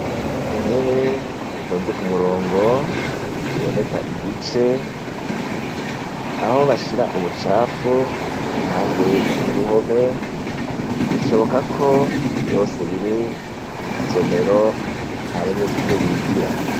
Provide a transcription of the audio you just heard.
Intebe zitonze ku murongo ziboneka igice, aho bashira ubucafu, impande y'uruhome, bishoboka ko vyose biri mw'isomero aho abanyeshure bigira.